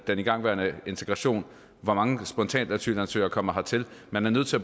den igangværende integration hvor mange spontane asylansøgere der kommer hertil man er nødt til